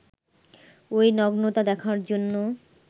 ওই নগ্নতা দেখার জন্য